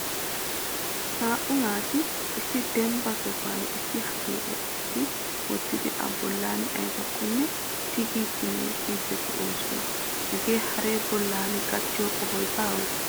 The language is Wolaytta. naa''u naati issi dembba sohuwan issi hariyo essi wottidi I bolla aybbakko tigidi meecciiddi de'oosona. hagee haree bollan gattiyo qohoy baawe?